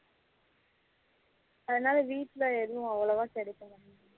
அதனால வீட்டுல எதுவும் அவளவா கிடைக்க மாட்டுக்கு